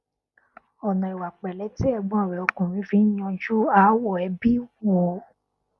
ọnà ìwà pẹlẹ tí ẹgbọn rẹ ọkùnrin fi n yanjú aáwọ ẹbí wù ú